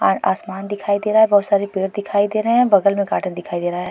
और आसमान दिखाई दे रहा है। बहोत सारे पेड़ दिखाई दे रहे हैं। बगल में गार्डन दिखाई दे रहा है।